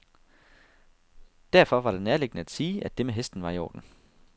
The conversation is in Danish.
Derfor var det nærliggende at sige, at det med hesten var i orden.